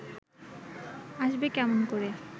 আসবে কেমন করে